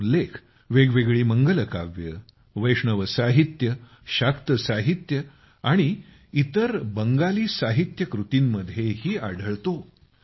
त्याचा उल्लेख वेगवेगळ्या मंगलकाव्ये वैष्णव साहित्य शाक्त साहित्य आणि इतर बंगाली साहित्यिक कृतींमध्येही आढळतो